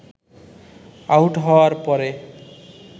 out হওয়ার পরে